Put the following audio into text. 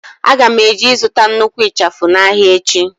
Aga m eje ịzụta nnukwu ịchafụ n'ahịa echi.